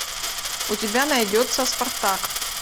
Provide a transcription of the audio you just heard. у тебя найдется спартак